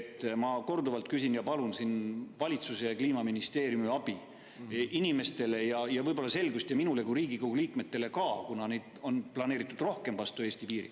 Ma olen selle kohta korduvalt küsinud ja palun siin valitsuse ja Kliimaministeeriumi abi ning selgust inimestele ja minule kui Riigikogu liikmel, kuna on planeeritud rohkem vastu Eesti piiri.